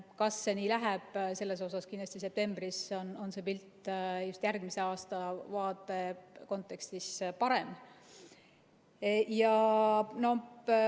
Kas see nii läheb, siin kindlasti on septembris see pilt just järgmise aasta vaate kontekstis parem.